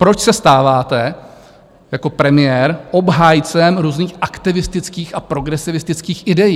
Proč se stáváte jako premiér obhájcem různých aktivistických a progresivistických idejí?